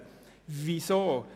Weshalb dies?